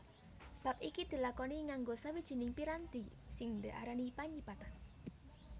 Bab iki dilakoni nganggo sawijining piranti sing diarani panyipatan